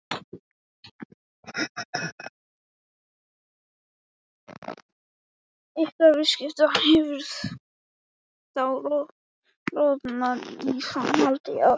Ykkar vinskapur hefur þá rofnað í framhaldi af því?